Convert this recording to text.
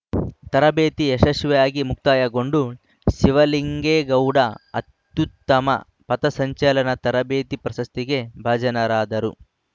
ತರಬೇತಿ ಯಶಸ್ವಿಯಾಗಿ ಮುಕ್ತಾಯಗೊಂಡು ಶಿವಲಿಂಗೇಗೌಡ ಅತ್ಯುತ್ತಮ ಪಥಸಂಚಲನ ತರಬೇತಿ ಪ್ರಶಸ್ತಿಗೆ ಭಾಜನರಾದರು